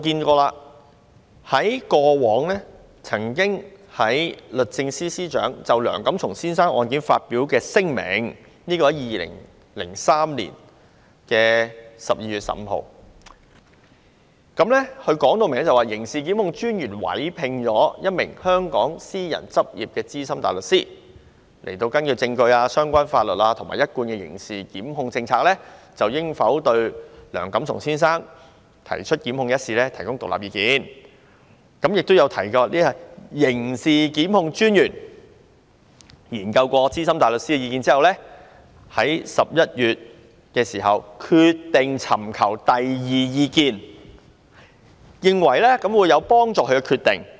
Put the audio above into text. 過往律政司司長曾就梁錦松先生案件發表聲明，在2003年12月15日，明確表示刑事檢控專員委聘了一名香港私人執業的資深大律師，根據證據、相關法律和一貫的刑事檢控政策，就應否對梁錦松先生提出檢控一事提供獨立意見，也有提及刑事檢控專員在研究資深大律師的意見後，在11月決定尋求第二意見，認為有助他作出決定。